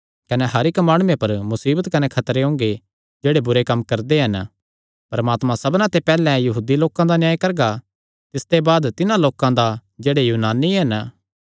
कने हर इक्की माणुये पर मुसीबत कने खतरे ओंगे जेह्ड़े बुरे कम्म करदे हन परमात्मा सबना ते पैहल्ले यहूदी लोकां दा न्याय करगा तिसते बाद तिन्हां लोकां दा जेह्ड़े यूनानी हन